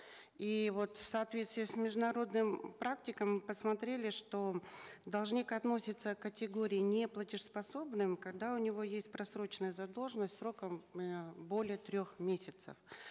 и вот в соответствии с международными практиками мы посмотрели что должник относится к категории неплатежеспособных когда у него есть просроченная задолженность сроком э более трех месяцев